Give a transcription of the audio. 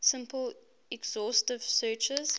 simple exhaustive searches